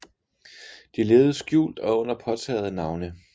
De levede skjult og under påtagede navne